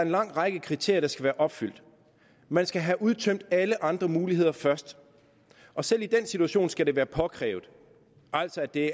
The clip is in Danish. lang række kriterier der skal være opfyldt man skal have udtømt alle andre muligheder først og selv i den situation skal det være påkrævet altså det